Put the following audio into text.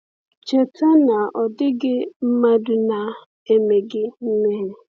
Cheta na ọ dịghị mmadụ na-emeghị mmehie.